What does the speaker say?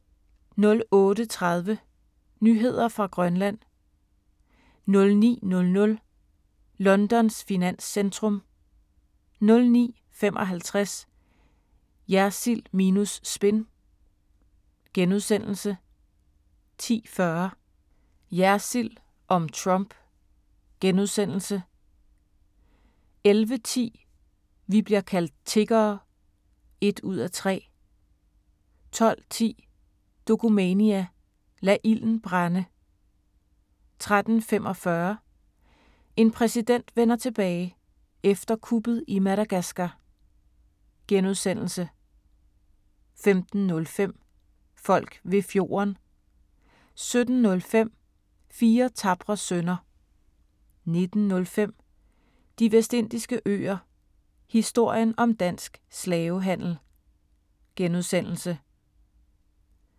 08:30: Nyheder fra Grønland 09:00: Londons finanscentrum 09:55: Jersild minus spin * 10:40: Jersild om Trump * 11:10: Vi bliver kaldt tiggere (1:3) 12:10: Dokumania: Lad ilden brænde 13:45: En præsident vender tilbage – efter kuppet i Madagaskar * 15:05: Folk ved fjorden 17:05: Fire tapre sønner 19:05: De Vestindiske Øer - historien om dansk slavehandel *